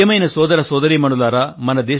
ప్రియమైన సోదర సోదరీమణులారా